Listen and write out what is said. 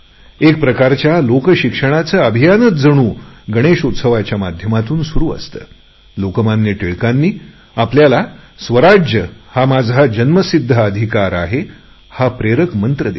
एक प्रकारच्या लोकशिक्षणाचे अभियानच जणू गणेश उत्सवाच्या माध्यमातून सुरु असते लोकमान्य टिळकांनी आपल्याला स्वराज्य हा माझा जन्मसिध्द हक्क आहे हा प्रेरक मंत्र दिला